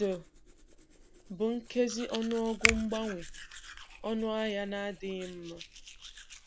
D — bụ nkezi ọnụọgụ mgbanwe ọnụahịa na-adịghị mma.